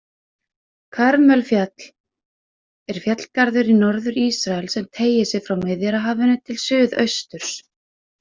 Karmelfjall er fjallgarður í Norður-Ísrael sem teygir sig frá Miðjarðarhafinu til suðausturs.